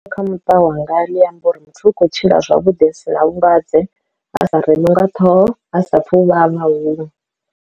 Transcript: Kha muṱa wanga ḽi amba uri muthu u khou tshila zwavhuḓi hu si na vhulwadze a sa reṅwi nga ṱhoho ha sa pfhe u vhavha huṅwe.